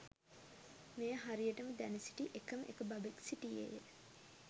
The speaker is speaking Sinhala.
මෙය හරියටම දැන සිටි එකම එක බබෙක් සිටියේය.